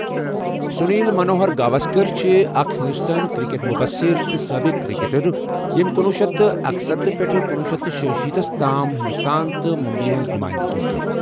سنیل منوہر گواسکر چِھ اکھ ہِنٛدوستٲنۍ کِرکٹ مبصر تہٕ سٲبِق کِرکٹَر ییٚمۍ کُنوہ شیٚتھ تہٕ اکستَتھہٕ پیٹھٕ کُنوہ شیٚتھ تہٕ شییہٕ شیتَس تام ہندوستان تہٕ مبئیہِ ہِنٛز نُمٲئندگی کٔر۔